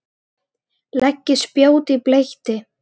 Leggið spjót í bleyti.